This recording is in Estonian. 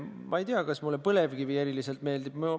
Ma ei tea, kas mulle põlevkivi eriliselt meeldib.